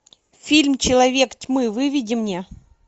фильм человек тьмы выведи мне